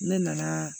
Ne nana